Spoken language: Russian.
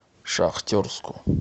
шахтерску